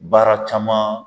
Baara caman